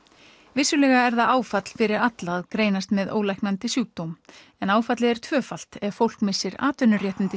vissulega er það áfall fyrir alla að greinast með ólæknandi sjúkdóm áfallið er tvöfalt ef fólk missir atvinnuréttindi